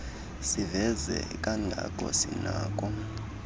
siveze kangako sinakho